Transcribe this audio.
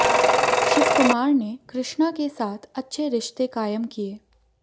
शिवकुमार ने कृष्णा के साथ अच्छे रिश्ते कायम किए